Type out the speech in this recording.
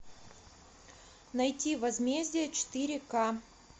найти возмездие четыре ка